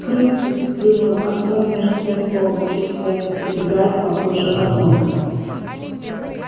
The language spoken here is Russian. крысы сплюнул артём мерзкое слово чувствуя как пробегает по коже озноб